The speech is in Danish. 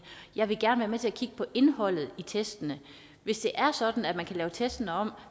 jeg vil gerne være med til at kigge på indholdet af testene hvis det er sådan at man kan lave testene om